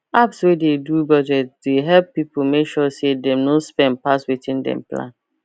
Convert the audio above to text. apps wey dey do budget dey help people make sure say dem no spend pass wetin dem plan